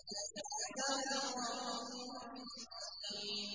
عَلَىٰ صِرَاطٍ مُّسْتَقِيمٍ